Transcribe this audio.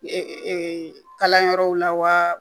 Ee kalanyɔrɔw la wa